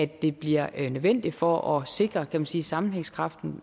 det bliver nødvendigt for at sikre kan man sige sammenhængskraften